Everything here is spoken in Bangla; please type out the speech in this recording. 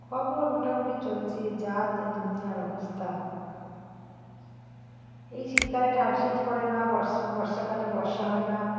খবর মোটামুটি চলছে যা তো দুনিয়ার অবস্থা এই শীতকালে শীত পরে না বর্ষাকালে বর্ষা হয়ে না